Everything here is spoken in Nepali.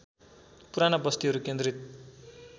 पुराना बस्तीहरू केन्द्रित